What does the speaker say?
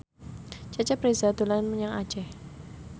Cecep Reza dolan menyang Aceh